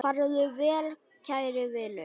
Farðu vel kæri vinur.